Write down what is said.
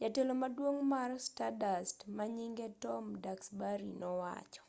jatelo maduong' mar stardust manyinge tom duxbury nowacho